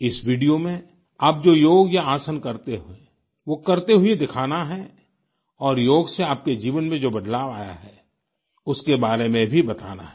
इस वीडियो में आप जो योग या आसन करते हों वो करते हुए दिखाना है और योग से आपके जीवन में जो बदलाव आया है उसके बारे में भी बताना है